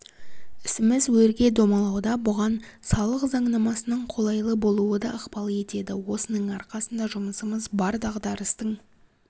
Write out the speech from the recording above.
ісіміз өрге домалауда бұған салық заңнамасының қолайлы болуы да ықпал етеді осының арқасында жұмысымыз бар дағдарыстың